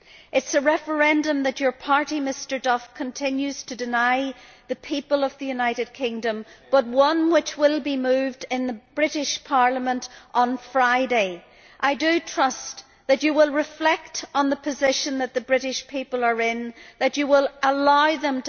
It is a referendum that your party, Mr Duff, continues to deny the people of the United Kingdom, but one which will be moved in the British Parliament on Friday. I trust that you will reflect on the position that the British people are in, that you will allow them